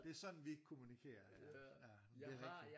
Det er sådan vi kommunkerer ja jamen det er rigtigt